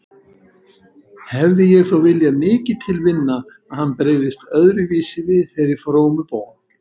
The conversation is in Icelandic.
Hefði ég þó viljað mikið til vinna að hann brygðist öðruvísi við þeirri frómu bón.